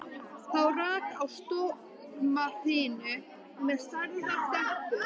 Þá rak á stormhrinu með stærðar dembu.